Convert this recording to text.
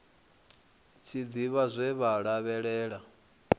tshi ḓivha zwe vha lavhelela